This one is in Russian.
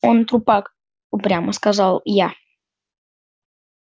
он трупак упрямо сказал я